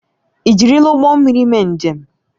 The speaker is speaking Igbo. Ị jirila ụgbọ mmiri mee njem?